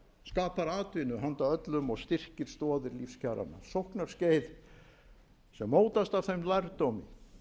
skapar atvinnu handa öllum og styrkir stoðir lífskjaranna sóknarskeið sem mótast af þeim lærdómi